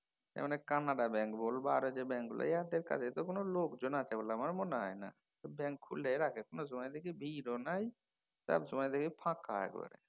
যেমন এই কানাড়া ব্যাঙ্ক বল বা আর যে ব্যাঙ্ক গুলো এয়াদের কাছে তো কোনও লোকজন আছে বলে আমার মনে হয়না। ব্যাঙ্ক খুলেই রাখে কোনও সময় দেখি ভিড়ও নাই সব সময় দেখি ফাঁকা একেবারে।